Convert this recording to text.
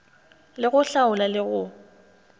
le go hlaola le go